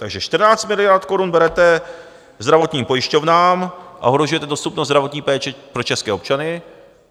Takže 14 miliard korun berete zdravotním pojišťovnám a ohrožujete dostupnost zdravotní péče pro české občany.